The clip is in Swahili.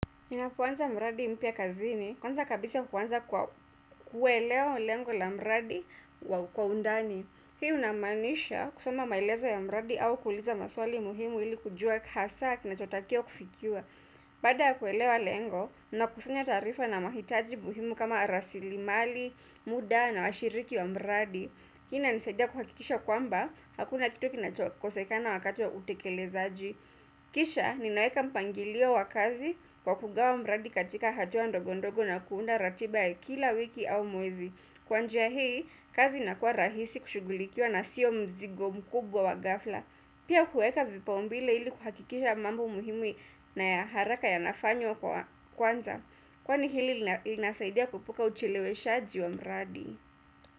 Ninapoanza mradi mpya kazini, kwanza kabisa huanza kuelewa lengo la mradi wa kwa undani. Hii inamaanisha kusoma maelezo ya mradi au kuuliza maswali muhimu ili kujua hasa kinachotakiwa kufikiwa. Baada ya kuelewa lengo, ninakusanya taarifa na mahitaji muhimu kama rasili mali, muda na washiriki wa mradi. Hii inanisaidia kuhakikisha kwamba, hakuna kitu kinakosekana wakati wa utekelezaji. Kisha ninaweka mpangilio wa kazi kwa kugawa mradi katika hatua ndogo ndogo na kuunda ratiba ya kila wiki au mwezi Kwa njia hii, kazi inakuwa rahisi kushugulikiwa na sio mzigo mkubwa wa ghafla Pia kueka vipaumbele ili kuhakikisha mambo muhimu na ya haraka yanafanywa kwanza Kwani hili linasaidia kuepuka ucheleweshaji wa mradi.